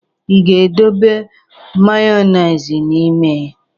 Ị ga-edobe mayoneize n'ime?